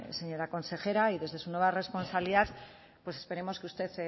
señora consejera y desde su nueva responsabilidad pues esperemos que usted